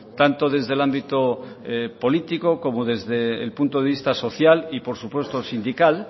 tanto desde el ámbito político como desde el punto de vista social y por supuesto sindical